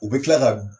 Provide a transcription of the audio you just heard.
U bɛ tila ka